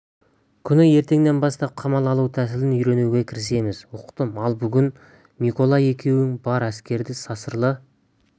күні ертеңнен бастап қамал алу тәсілін үйренуге кірісеміз ұқтым ал бүгін миколай екеуің бар әскерді сасырлы